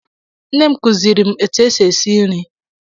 Nne m kuziri m etụ esị esị nri.